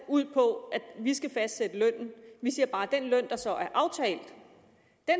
ud på at vi skal fastsætte lønnen vi siger bare at den løn der så er aftalt